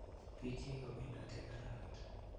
Piik chekikopendati eng' arawet